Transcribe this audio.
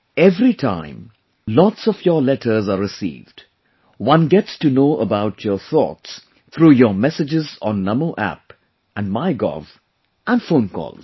every time, lots of your letters are received; one gets to know about your thoughts through your messages on Namo App and MyGov and phone calls